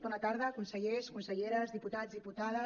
bona tarda consellers conselleres diputats diputades